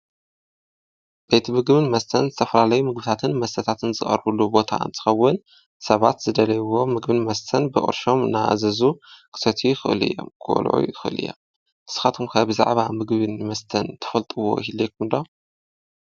ቤት ምግብን መስተን ዝተፈላለዩ ምግብታትን መስተታትን ዝቐርብሉ ቦታ እንትኸውን ሰባት ዝደለይዎ ምግብን መስተን ብቅርሾም እናኣዘዙ ክሰትዩ ይኽእሉ እዮም ክበልዑ ይኽእሉ እዮም ። ንስኻትኩም ብዛዕባ ምግብን መስተ ትፈልጥዎ ይህለወኩም ዶ ?